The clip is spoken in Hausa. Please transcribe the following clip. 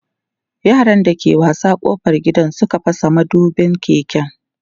yaran da ke wasa ƙofar gida Suka fasa madubin keken